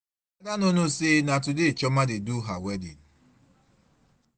Ada no know say na today chioma dey do her wedding.